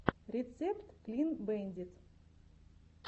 рецепт клин бэндит